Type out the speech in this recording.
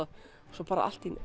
svo bara allt í einu